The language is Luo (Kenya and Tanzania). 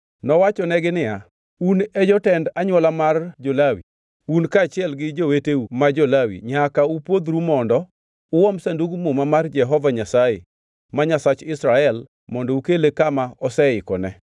Nowachonegi niya, “Un e jotend anywola mar jo-Lawi, un kaachiel gi joweteu ma jo-Lawi nyaka upwodhru mondo uom Sandug Muma mar Jehova Nyasaye, ma Nyasach Israel mondo ukele kama aseikone.